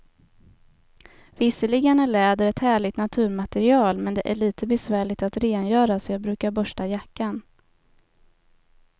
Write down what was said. Visserligen är läder ett härligt naturmaterial, men det är lite besvärligt att rengöra, så jag brukar borsta jackan.